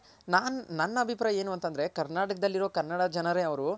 ನಾ ನನ್ ಅಭಿಪ್ರಾಯ ಏನು ಅಂತಂದ್ರೆ ಕರ್ನಾಟಕ ದಲ್ ಇರೋ ಕನ್ನಡ ಜನರೇ ಅವ್ರು